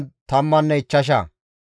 Zaato zereththati 945,